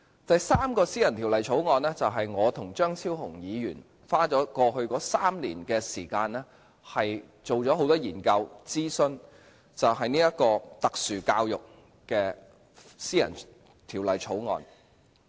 第三項私人條例草案，就是我和張超雄議員花了過去3年時間，進行了很多研究和諮詢，有關特殊教育的私人條例草案。